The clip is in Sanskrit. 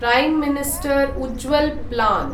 प्रिमे मिनिस्टर् उज्ज्वल् प्लान्